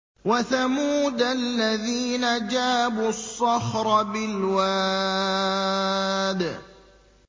وَثَمُودَ الَّذِينَ جَابُوا الصَّخْرَ بِالْوَادِ